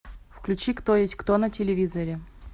включи кто есть кто на телевизоре